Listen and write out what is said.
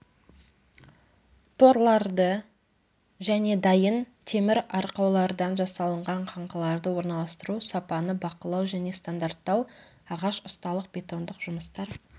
торларды және дайын темір арқаулардан жасалынған қаңқаларды орналастыру сапаны бақылау және стандарттау ағаш ұсталық бетондық жұмыстар